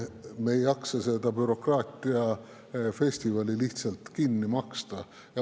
Me ei jaksa seda bürokraatiafestivali lihtsalt kinni maksta.